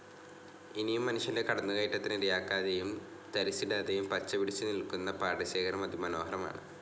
ഇനിയും മനുഷ്യൻ്റെ കടന്നു കയറ്റത്തിനു ഇരയാക്കാതെയും തരിശിടാതെയും പച്ച പിടിച്ചു നിൽക്കുന്ന പാടശേഖരം അതി മനോഹരമാണ്.